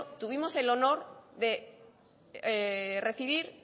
tuvimos el honor de recibir